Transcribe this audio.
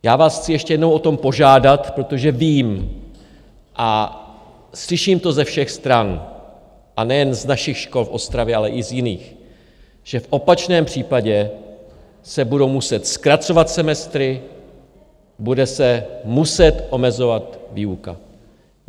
Já vás chci ještě jednou o to požádat, protože vím a slyším to ze všech stran, a nejen z našich škol v Ostravě, ale i z jiných, že v opačném případě se budou muset zkracovat semestry, bude se muset omezovat výuka.